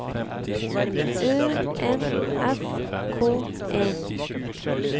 Ø N S K E